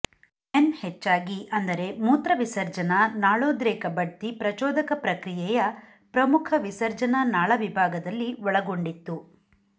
men ಹೆಚ್ಚಾಗಿ ಅಂದರೆ ಮೂತ್ರವಿಸರ್ಜನಾ ನಾಳೋದ್ರೇಕ ಬಡ್ತಿ ಪ್ರಚೋದಕ ಪ್ರಕ್ರಿಯೆಯ ಪ್ರಮುಖ ವಿಸರ್ಜನಾ ನಾಳ ವಿಭಾಗದಲ್ಲಿ ಒಳಗೊಂಡಿತ್ತು